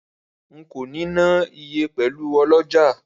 Rara, nko ni na iye pelu oloja.